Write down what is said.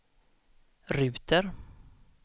ruter